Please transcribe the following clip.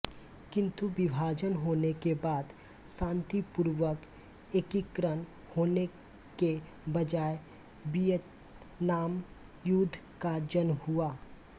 किन्तु विभाजन होने के बाद शान्तिपूर्वक एकीकरण होने के बजाय वियतनाम युद्ध का जन्म हुआ